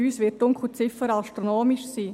Bei uns wird die Dunkelziffer astronomisch sein.